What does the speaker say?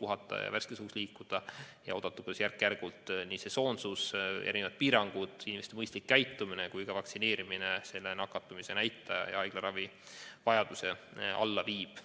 puhata ja värskes õhus liikuda ning oodata, kuidas järk-järgult nii sesoonsus, mitmesugused piirangud, inimeste mõistlik käitumine kui ka vaktsineerimine nakatumise näitaja ja haiglaravivajaduse alla viib.